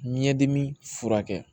Ɲɛdimi furakɛ